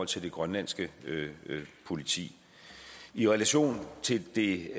til det grønlandske politi i relation til det